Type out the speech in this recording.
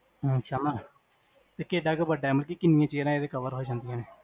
ਅਛਾ, ਤੇ ਕਿੱਡਾ ਕ ਬਡੇ, ਕਿੰਨੀ chairs ਏਦੇ ਚ cover ਹੋਜਾਂਦਿਆਂ ਨੇ?